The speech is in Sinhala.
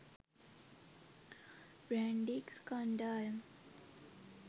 බ්‍රැන්ඩික්ස් කණ්ඩායම